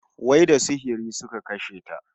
Wai da sihiri suka kashe ta?